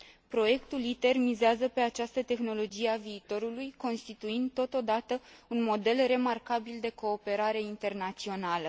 Proiectul ITER mizează pe această tehnologie a viitorului, constituind, totodată, un model remarcabil de cooperare internațională.